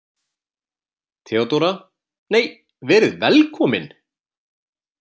THEODÓRA: Nei, verið velkomin!